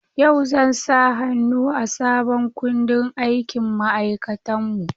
Yau zan sa hannu a sabon kundin aikin ma'aikatanmu.